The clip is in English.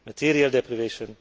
material deprivation